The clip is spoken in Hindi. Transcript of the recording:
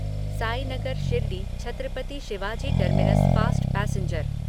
Sainagar Shirdi Chhatrapati Shivaji terminus fast passenger